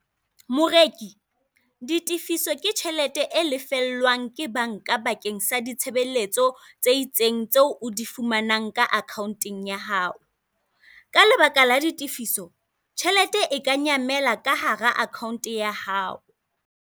Moreki, ditefiso ke tjhelete e lefellwang ke banka bakeng sa ditshebeletso tse itseng tseo o di fumanang ka akhaonteng ya hao. ka lebaka la ditefiso, tjhelete e ka nyamela ka hara akhaonte ya hao.